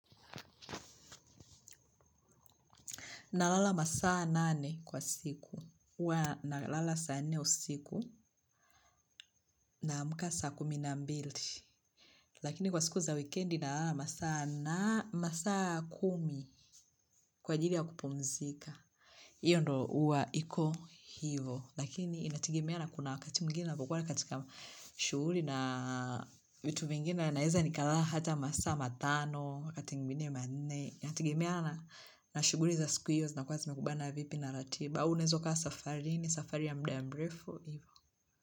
Nalala masaa nane kwa siku. Nalala saa nne usiku. Naamka saa kumi na mbili. Lakini kwa siku za wikendi nalala masaa kumi. Kwa ajili ya kupumzika. Hiyo ndio huwa iko hivo. Lakini inategemea na kuna wakati mwingine napokuwa katika shughuli na vitu vingine na naeza ni kalala hata masaa matano. Wakati mwigine manne. Inategemea na na shughuli za siku hiyos zinakuwa zimekubana vipi na ratiba. Au unaeza ukawa safari. Ni safari ya muda mrefu ivo.